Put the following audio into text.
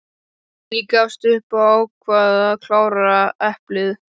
Ég gafst upp og ákvað að klára eplið.